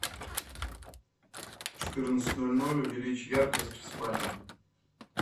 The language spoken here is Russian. в четырнадцать ноль ноль увеличь яркость в спальне